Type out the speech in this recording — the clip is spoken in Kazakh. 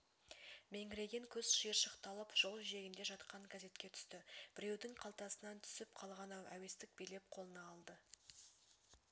меңірейген көз шиыршықталып жол жиегінде жатқан газетке түсті біреудің қалтасынан түсіп қалған-ау әуестік билеп қолына алды